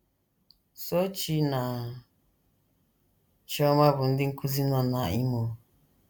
Sochi na Chioma bụ ndị nkụzi nọ na Imo.